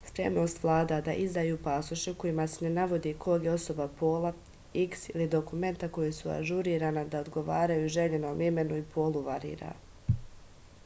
спремност влада да издају пасоше у којима се не наводи ког је особа пола x или документа која су ажурирана да одговарају жељеном имену и полу варира